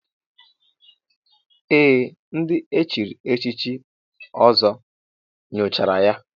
Ee, ndị echiri echichi Ọzọ nyochara ya.